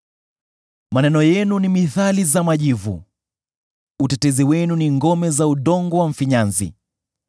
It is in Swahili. Maneno yenu ni mithali za majivu; utetezi wenu ni ngome za udongo wa mfinyanzi.